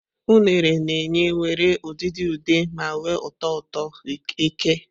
Unere na-enye nwere udidi ude ma nwee ụtọ ụtọ eke.